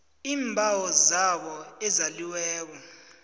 iimbawo zabo ezaliweko